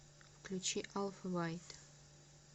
включи алфавайт